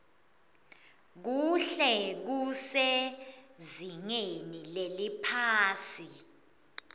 kuhle kusezingeni leliphasi